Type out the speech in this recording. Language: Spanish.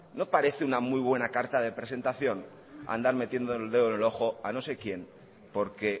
no parece muy buena carta de presentación andar metiendo el dedo en el ojo a no sé quién porque